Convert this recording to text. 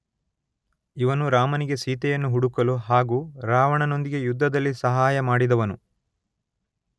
ಇವನು ರಾಮನಿಗೆ ಸೀತೆಯನ್ನು ಹುಡುಕಲು ಹಾಗೂ ರಾವಣನೊಂದಿಗೆ ಯುದ್ಧದಲ್ಲಿ ಸಹಾಯ ಮಾಡಿದವನು.